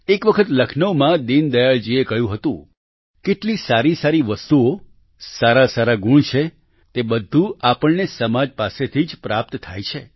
એક વખત લખનૌમાં દીનદયાળ જીએ કહ્યું હતું કેટલી સારી સારી વસ્તુઓ સારાસારા ગુણ છે તે બધું આપણને સમાજ પાસેથી જ પ્રાપ્ત થાય છે